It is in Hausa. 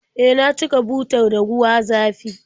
E, na cika butar da ruwa zafi